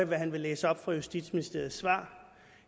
hvad han vil læse op fra justitsministeriets svar